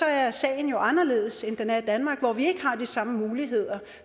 er sagen jo anderledes end den er i danmark hvor vi ikke har de samme muligheder